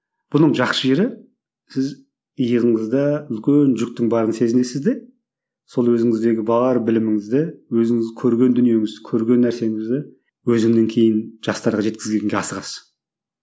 бұның жақсы жері сіз иығыңызда үлкен жүктің барын сезінесіз де сол өзіңіздегі бар біліміңізді өзіңіз көрген дүниеңізді көрген нәрсеңізді өзіңнен кейін жастарға жеткізгенге асығасыз